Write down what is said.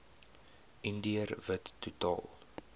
indiër wit totaal